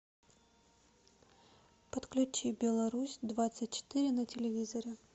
подключи беларусь двадцать четыре на телевизоре